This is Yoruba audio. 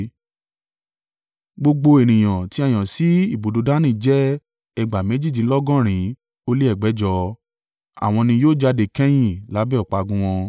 Gbogbo ènìyàn tí a yàn sí ibùdó Dani jẹ́ ẹgbàá méjìdínlọ́gọ̀rin ó lé ẹgbẹ̀jọ (157,600). Àwọn ni yóò jáde kẹ́yìn lábẹ́ ọ̀págun wọn.